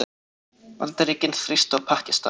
Bandaríkin þrýsta á Pakistan